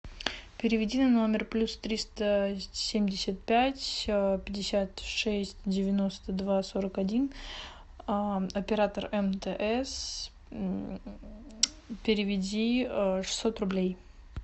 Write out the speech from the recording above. переведи на номер плюс триста семьдесят пять пятьдесят шесть девяносто два сорок один оператор мтс переведи шестьсот рублей